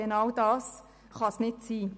Genau dies kann es nicht sein.